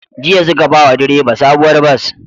Jiya suka bawa direba sabuwar bas